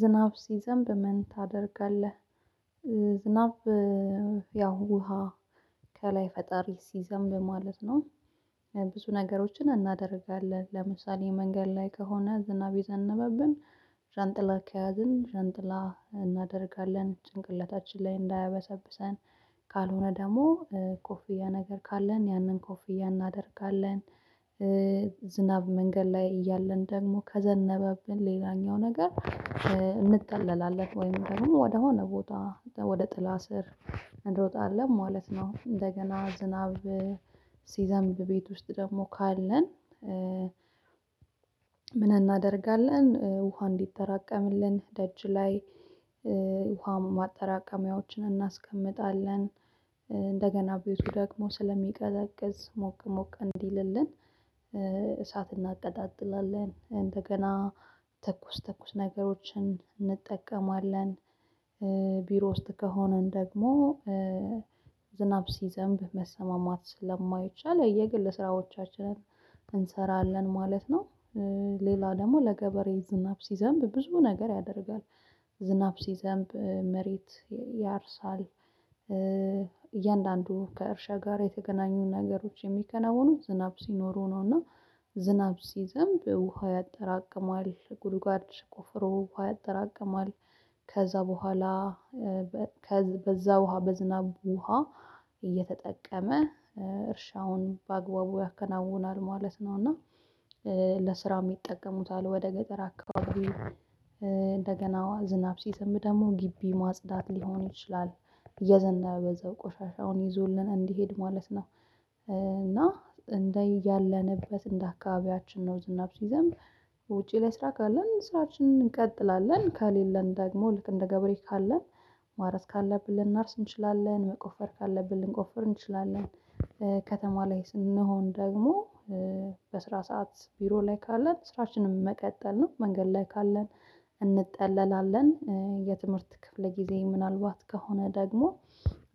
ዝናብ ሲዘንብ ምን ታደርጋለህ? ዝናብ ያው ውሃ ከላይ ፈጣሪ ሲዘንብ ማለት ነው። ብዙ ነገሮችን እናደርጋለን ለምሳሌ መንገድ ላይ ከሆነ ዝናብ የዘነበብን ዣንጥላ ከያዝን ዣንጥላ እናደርጋለን ጭንቅለታችን ላይ እንዳያበሰብሰን ካልሆነ ደግሞ ኮፍያ ነገር ካለን ያንን ኮፍያ እናደርጋለን። ዝናብ መንገድ ላይ እያለን ደግሞ ከዘነበብን ሌላኛው ነገር እንጠለላለን ወይም ደግሞ ወደሆነ ቦታ ወደ ጥላ ስር እንሮጣለን ማለት ነው። እንደገና ዝናብ ሲዘንብ ቤት ውስጥ ደግሞ ካለን? ምን እናደርጋለን ውሃ እንዲጠራቀምልን ደጅ ላይ ውሃ ማጠራቀሚያዎችን እናስቀምጣለን። እንደገና ቤቱ ደግሞ ስለሚቀዘቅዝ ሞቅ ሞቅ እንዲልልን እሳት እናቀጣጥላለን እንደገና ትኩስ ትኩስ ነገሮችን እንጠቀማለን። ቢሮ ውስጥ ከሆንን ደግሞ ዝናብ ሲዘንብ መሰማማት ስለማይቻል የግለ ስራዎቻችንን እንሰራለን ማለት ነው። ሌላው ደግሞ ለገበሬ ዝናብ ሲዘንብ ብዙ ነገር ያደርጋል ዝናብ ሲዘንብ መሬት ያርሳል። እያንዳንዱ ከእርሻ ጋር የተገናኙ ነገሮች የሚከነውኑ ዝናብ ሲኖሩ ነውና ዝናብ ሲዘንብ ውሃ ያጠራቅማል ጉድጓድ ቁፍሮ ውሃ ያጠራቅማል። ከዚያ በኋላ በዚያ ውሃ በዝናቡ ውሃ እየተጠቀመ እርሻውን በአግባቡ ያከናውናል ማለት ነው። እና ለስራውም ይጠቀሙታል ወደ ገጠር አካባቢ እንደገና ዝናብ ሲዘንብ ደግሞ ግቢ ማጽዳት ሊሆን ይችላል። እየዘነበ በዚያው ቆሻሻውን ይዞልን እንዲሄድ ማለት ነው። እና እንደያለንበት እንደ አካባቢያችን ነው ዝናብ ሲዘንብ ውጪ ለስራ ካለን ስራችንን እንቀጥላለን ከሌለን ደግሞ ልክ እንደ ገብሬ ካለን ማረስ ካለብን ልናርስ እንችላለን መቆፈር ካለብን ልንቆፍር እንችላለን። ከተማ ላይ ስንሆን ደግሞ በስራ ሰዓት ቢሮ ላይ ካለን ስራችንን መቀጠል ነው መንገድ ላይ ካለን እንጠለላለን የትምህርት ክፍለ ጊዜ ምናልባት ከሆነ ደግሞ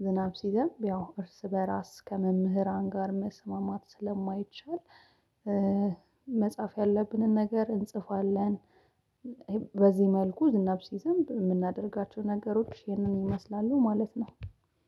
ዝናብ ሲዘንብ ያው እርስ በራስ ከመምህራን ጋር መስማማት ስለማይቻል መጻፍ ያለብንን ነገር እንጽፋለን። በዚህ መልኩ ዝናብ ሲዘንብ የምናደርጋቸው ነገሮች ይህንን ይመስላሉ ማለት ነው።